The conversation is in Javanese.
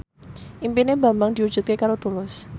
impine Bambang diwujudke karo Tulus